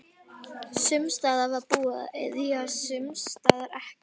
Sums staðar var búið að ryðja, sums staðar ekki.